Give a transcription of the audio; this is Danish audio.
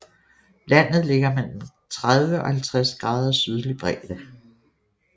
Landet ligger mellem 30 og 50 grader sydlig bredde